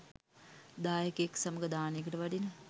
දායකයෙක් සමඟ දානයකට වඩින